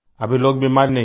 अभी लोग बीमार नहीं हैं